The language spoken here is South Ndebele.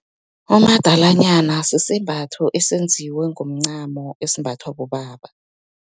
Umadalanyana, sisembatho esenziwe ngomncamo, esimbathwa bobaba.